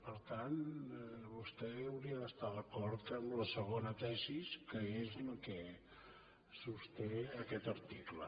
per tant vostè hauria d’estar d’acord amb la segona tesi que és la que sosté aquest article